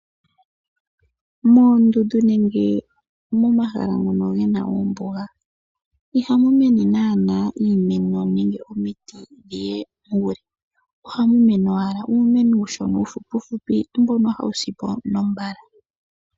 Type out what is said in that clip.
Moondundu nenge momahala ngoka gena ombuga, ihamu mene naana iimeno nenge omiti dhiye muule, ohamu mene owala uumeno uushona uufupifupi, mbono hawu sipo mbala.